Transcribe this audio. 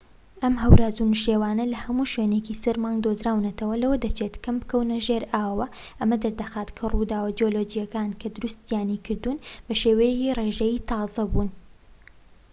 ئەم هەوراز و نشێوانە لە هەموو شوێنێکی سەر مانگ دۆزراونەتەوە و لەوە دەچێت کەم بکەونە ژێر ئاوهەواوە ئەمە دەردەخات کە ڕووداوە جیولۆجیەکان کە دروستیانی کردوون بە شێوەیەکی ڕێژەیی تازە بوون